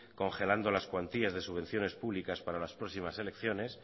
congelando las cuantías de subvenciones públicas para las próximas elecciones